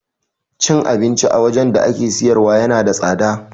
Cin abinci a wajan da ake siyarwa yana da tsada